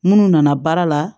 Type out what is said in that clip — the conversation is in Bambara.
Munnu nana baara la